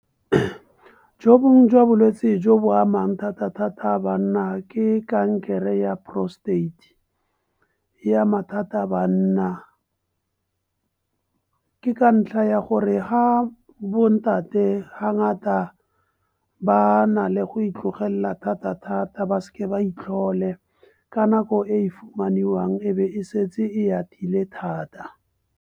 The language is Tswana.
Jo bongwe jwa bolwetse jo bo amang thata- thata banna ke kankere ya prostate, e ama thata banna. Ke ka ntlha ya gore ha bontate ha nyata ba nale go itlogelela. Thata-thata ba se ke ba itlhole ka nako e fumaniwang e be e setse e atile thata.